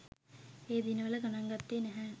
ඒ දිනවල ගණන් ගත්තේ නැහැ.